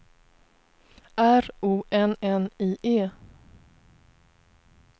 R O N N I E